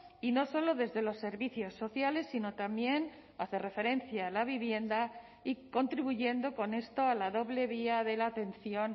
y no solo desde los servicios sociales sino también hace referencia a la vivienda y contribuyendo con esto a la doble vía de la atención